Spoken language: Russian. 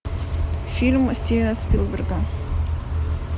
фильм стивена спилберга